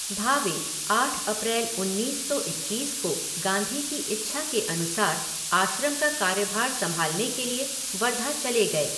भावे आठ अप्रैल उन्नीस सौ इक्कीस को गांधी की इच्छा के अनुसार आश्रम का कार्यभार संभालने के लिए वर्धा चले गए।